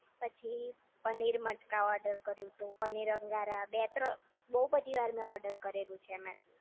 પછી પનીર મટકા ઓર્ડરકર્યું હતું પનીર અંગારા બે ત્રણ બોવ બધી વાર મેં ઓર્ડર કરેલું છે મેં એમાંથી